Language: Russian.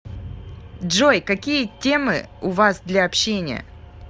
джой какие темы у вас для общения